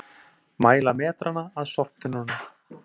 Mæla metrana að sorptunnunum